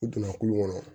U donna kulu kɔnɔ